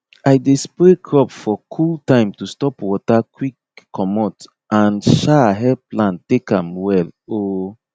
i dey spray crop for cool time to stop water quick comot and um help plant take am well um